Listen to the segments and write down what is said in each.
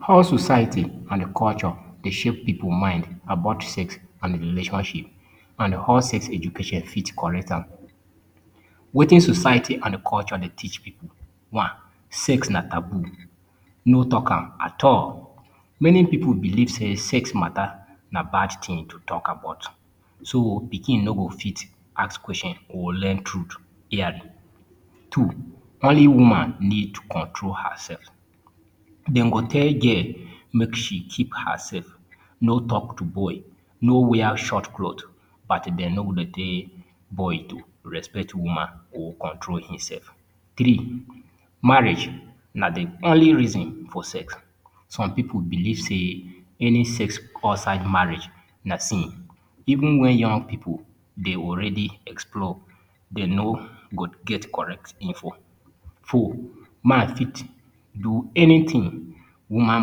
How society and culture dey shape people mind about sex and the relationship, and how sex education fits correct am. Wetin society and culture they teach people one Sex na taboo. No talkam at all. Many people believe sex matter na bad thing to talk about. So pikin no go fit ask question or learn truth early. Two Only woman need to control herself. Den go tell girl make she keep herself, no talk to boy, no wear short cloth, but den go tell boy to respect woman or control himself. Three Marriage na the only reason for sex. Some people believe say any sex outside marriage na sin. Even when young people, they already explore, den go get correct info. Four Men fit do anything. Women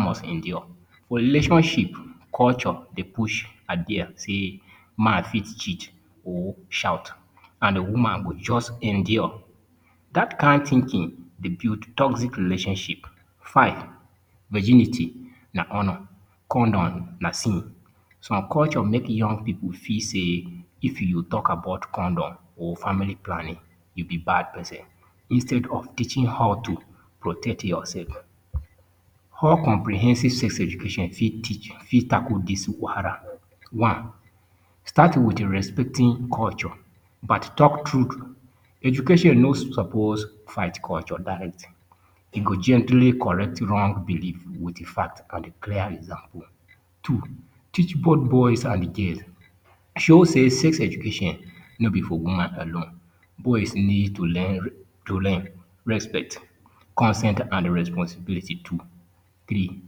must endure. For relationships, culture, they push idea, say man fit cheat, or shout, and a woman must just endure. That kind thinking, they build toxic relationships, Five, virginity, na honor, condom, na sin. Some culture make young people feel, say, if you talk about condom or family planning, you be bad person. Instead of teaching how to protect yourself. how comprehensive sex education fit teach, fit tackle this wahala one start with the respecting culture but talk truth education no suppose fight culture direct you go gently correct wrong belief with fact and clear example two teach both boys and girls show say sex education no be for woman alone boys need to learn respect consent and responsibility too Three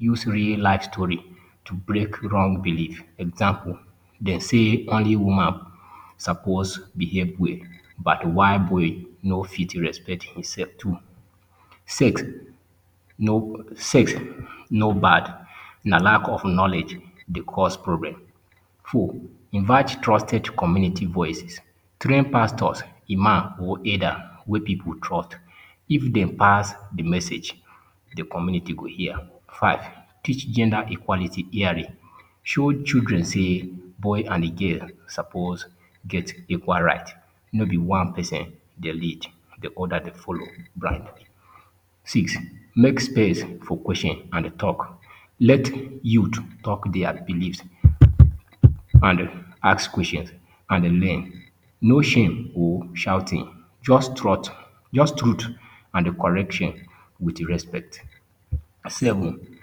Use real-life stories to break wrong beliefs. Example, they say only women are supposed to behave well, but a while boy no fit to respect himself too Sex, no bad, na lack of knowledge, they cause problem. Four Invite trusted community voices. Train pastors, imams, or aiders wey people trust. If they pass the message, the community could hear. Five, Teach gender equality early. Show children say boy and girl suppose get equal right, not be one person they lead, the other the follow, right? six. Make space for question and talk. Let youth talk their beliefs and ask questions and learn. No shame or shouting. Just truth and correction with respect. Seven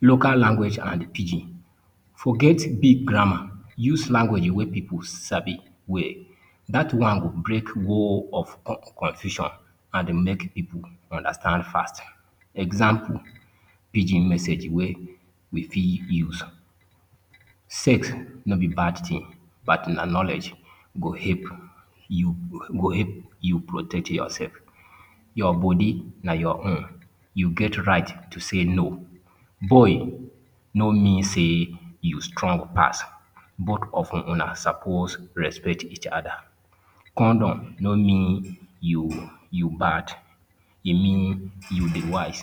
Local Language na Pidgin Forget big grammar. Use language where people sabi well. That one go break wall of confusion and make people understand faster. Example, pidgin message way we fit use. Sex not be bad thing, but knowledge go help you protect yourself, your body na your own. You get right to say no. Boy no mean say you strong person. Both of you na suppose respect each other. Condom no mean you bad. E mean you they wise.